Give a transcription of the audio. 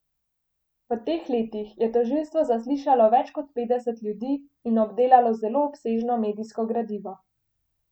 V teh letih je tožilstvo zaslišalo več kot petdeset ljudi in obdelalo zelo obsežno medijsko gradivo.